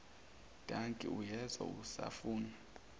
dankie uyezwa usafuna